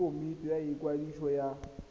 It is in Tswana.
ke komiti ya ikwadiso ya